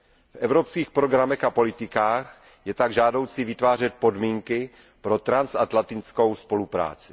V evropských programech a politikách je tak žádoucí vytvářet podmínky pro transatlantickou spolupráci.